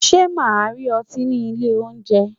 Ṣé màá rí ọtí ní ilé oúnjẹ.